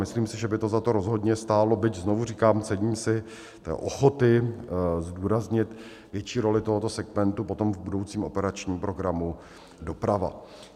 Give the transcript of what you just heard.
Myslím si, že by to za to rozhodně stálo, byť znovu říkám, cením si ochoty zdůraznit větší roli tohoto segmentu potom v budoucím operačním programu Doprava.